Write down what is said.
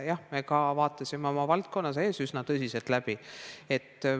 Jah, me vaatasime oma valdkonna sees üsna tõsiselt ringi.